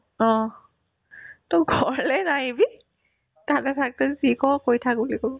অ, to ঘৰলে নাহিবি তাতে থাক তই যি কৰ' কৰি থাক বুলি ক'ব